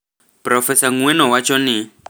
Profesa Ng’weno wacho ni: